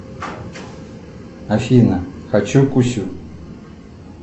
афина хочу кусю